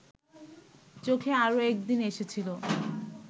চোখে আরও একদিন এসেছিল